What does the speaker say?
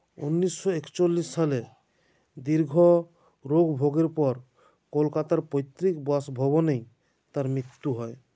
উনিশো একছোলিশ সালে দীর্ঘ রোগভোগের পর কোলকাতার পৈতৃক বাসভবনেই তাঁর মৃত্যু হয়